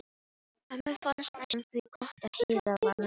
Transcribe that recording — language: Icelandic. Mömmu fannst næstum því gott að Heiða var með mislinga.